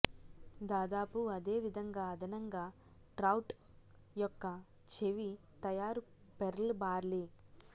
దాదాపు అదేవిధంగా అదనంగా ట్రౌట్ యొక్క చెవి తయారు పెర్ల్ బార్లీ